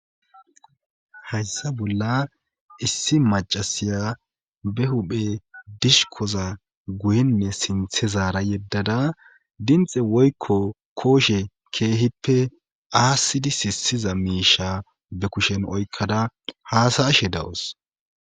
hayssa bolla issi macasiya be huphe dishkoza guyinne sinthe zaara yeddada dinxe woykko kooshe keehippe aasidi sisiza miisha be kushen oykkada haasa ashe dawos